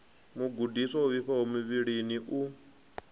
mugudiswa o vhifhaho muvhilini u